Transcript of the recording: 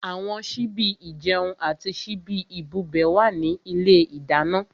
Àwọn síbí ìjẹun àti síbí ìbubẹ̀ wà ní ilé ìdáná.